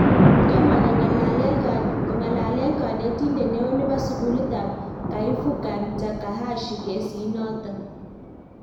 Tomo kongalalen kanetindet neoo nebo sukulit ab Kaifukan Takahashi kesit noton